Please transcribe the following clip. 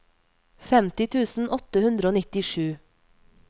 femti tusen åtte hundre og nittisju